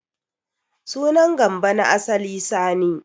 Sunan Gambo na asali Sani.